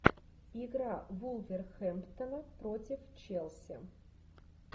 игра вулверхэмптона против челси